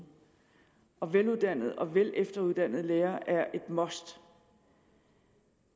og veluddannede og velefteruddannede lærere er et must